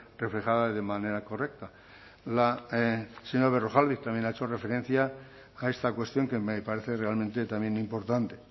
reflejada de manera correcta la señora berrojalbiz también ha hecho referencia a esta cuestión que me parece realmente también importante